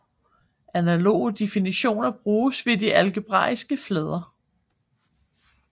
Analoge definitioner bruges ved de algebraiske flader